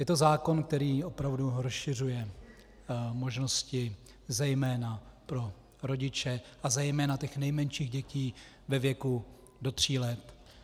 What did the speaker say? Je to zákon, který opravdu rozšiřuje možnosti zejména pro rodiče a zejména těch nejmenších dětí ve věku do tří let.